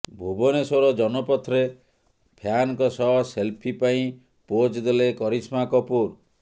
ଭୁବନେଶ୍ୱର ଜନପଥ୍ରେ ଫ୍ୟାନଙ୍କ ସହ ସେଲ୍ଫି ପାଇଁ ପୋଜ୍ ଦେଲେ କରିସ୍ମା କପୁର୍